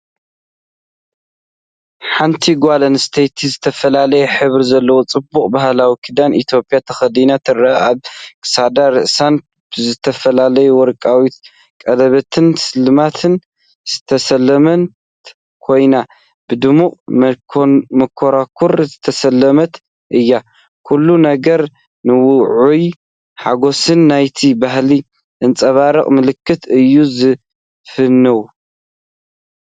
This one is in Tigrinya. ሓንቲ ጓል ኣንስተይቲ ዝተፈላለየ ሕብሪ ዘለዎ ጽቡቕ ባህላዊ ክዳን ኢትዮጵያ ተኸዲና ትርአ። ኣብ ክሳዳን ርእሳን ብዝተፈላለየ ወርቃዊ ቀለቤትን ስልማትን ዝተሰለመት ኮይና፡ ብድሙቕ መንኮርኮር ዝተሰለመት እያ። ኩሉ ነገር ንውዑይን ሓጎስን ናይቲ ባህሊ ዘንጸባርቕ መልክዕ እዩ ዝፍንው።